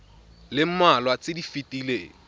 le mmalwa tse di fetileng